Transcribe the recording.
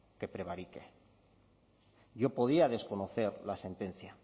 que prevarique yo podía desconocer la sentencia